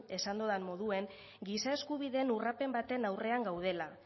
esan dudan moduan giza eskubideen urraketa baten aurrean gaudela